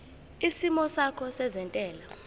isimo sakho sezentela